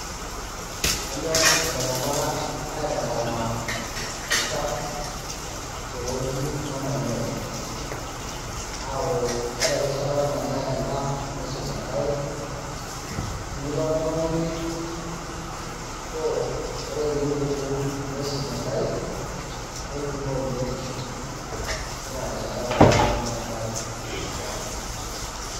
Kenyok iltungana aitalama, olchafu teweuji nemanyae , aku ore erishata nanyae endaa nisuj inkaek, tenilo oltungani choo ore pipuku nisuj inkaek, nebikoo biotisho tina rishata teniaku meetae olchafu.